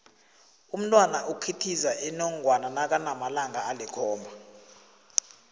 umntwana ikhithiza inongwana nakanamalanga alikhomba